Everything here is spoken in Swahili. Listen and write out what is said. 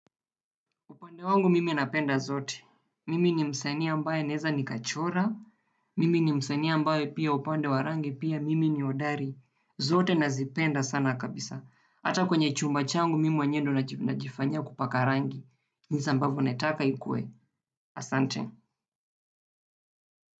Upande wangu mimi napenda zote. Mimi ni msanii ambae naeza ni kachora. Mimi ni msanii ambaye pia upande wa rangi pia mimi ni hodari. Zote nazipenda sana kabisa. Hata kwenye chumba changu mimi mwenyewe ndio najifanyia kupaka rangi. Nisambavu naitaka ikue. Asante.